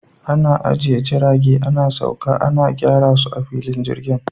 Ana ajiye jirage, ana sauka, ana gyara su a filin jirgin.